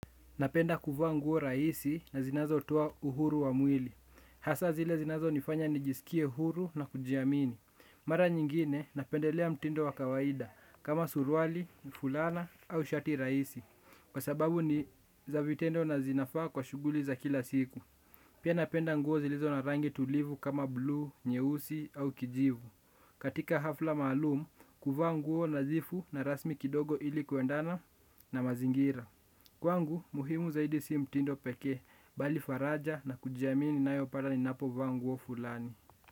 Napenda kuvaa nguo rahisi na zinazotoa uhuru wa mwili. Hasaa zile zinazonifanya nijisikie huru na kujiamini. Mara nyingine napendelea mtindo wa kawaida kama suruali, fulana au shati rahisi. Kwa sababu ni za vitendo na zinafaa kwa shughuli za kila siku. Pia napenda nguo zilizo na rangi tulivu kama blue, nyeusi au kijivu. Katika hafla maalum, kuvaa nguo nadhifu na rasmi kidogo ili kuendana na mazingira. Kwangu muhimu zaidi si mtindo pekee bali faraja na kujiamini ninayopata ninapovaa nguo wa fulani.